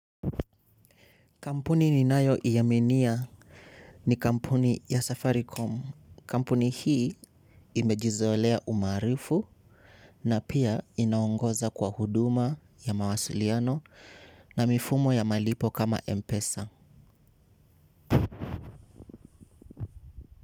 Kampuni ninayoiaminia ni kampuni ya Safaricom. Kampuni hii imejizolea umaarufu na pia inaongoza kwa huduma ya mawasiliano na mifumo ya malipo kama Mpesa.